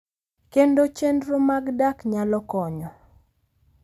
Kendo chenro mag dak nyalo konyo .